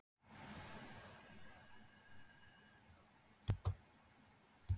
Þórhildur: Sérðu að þetta muni nýtast þér eitthvað?